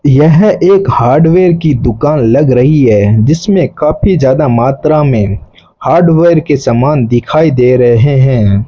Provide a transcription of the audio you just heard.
यह एक हार्डवेयर की दुकान लग रही है जिसमें काफी ज्यादा मात्रा में हार्डवेयर के समान दिखाई दे रहे हैं।